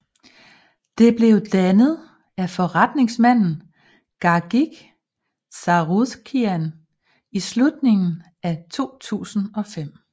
Det blev dannet af forretningsmanden Gagik Tsarukian i slutningen af 2005